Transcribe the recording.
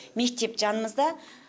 мектеп жанымызда